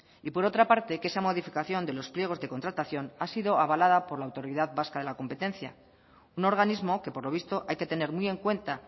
y por otra parte que esa modificación de los pliegos de contratación ha sido avalada por la autoridad vasca de la competencia un organismo que por lo visto hay que tener muy en cuenta